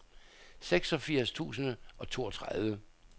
seksogfirs tusind og toogtredive